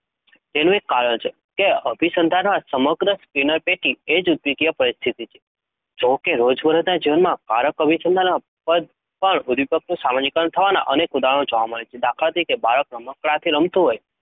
તેનું એક કારણ છે કે અભિસંધાનમાં સમગ્ર સ્કિનરપેટી એ જ ઉદીપકીય પરિસ્થિતિ છે. જો કે, રોજબરોજના જીવનમાં કારક અભિસંધાનમાં પણ ઉદ્દીપકનું સામાન્યીકરણ થવાનાં અનેક ઉદાહરણો જોવા મળે છે. દાખલા તરીકે બાળક રમકડાંથી રમતું હોય